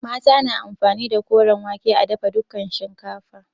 Mata na amfani da koren wake a dafa dukan shinkafa.